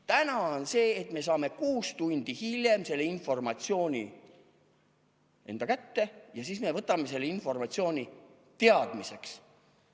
Täna on see, et me saame kuus tundi hiljem selle informatsiooni enda kätte ja siis me võtame selle informatsiooni teadmiseks.